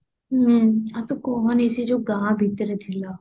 ହୁଁ ଆଉ ତୁ କୁହନି ସେ ଯୋଉ ଗାଁ ଭିତରେ ଥିଲା